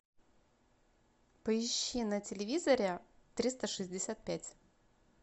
поищи на телевизоре триста шестьдесят пять